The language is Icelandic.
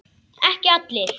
Ekki allir.